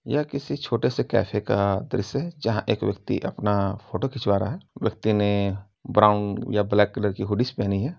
यह किसी छोटे से कैफे का दृश्य है जहां एक व्यक्ति अपना फोटो खिंचवा रहा है। व्यक्ति ने ब्राउन या ब्लैक कलर की हूडीस पहनी है।